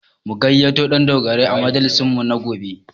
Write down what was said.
Mu gayyato Ɗandogarai a majalisinmu na gobe